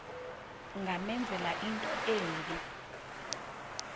ungamenzela into embi